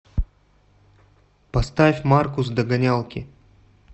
поставь маркус догонялки